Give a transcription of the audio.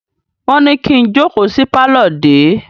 Wọ́n ní kí n jókòó sí pálọ̀ dè é!